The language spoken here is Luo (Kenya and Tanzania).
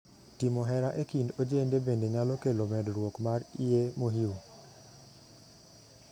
Timo hera e kind ojende bende nyalo kelo medruok mar iyee mohiu.